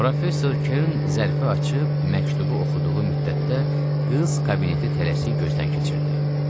Professor Kern zərfı açıb məktubu oxuduğu müddətdə qız kabineti tələsik gözdən keçirdi.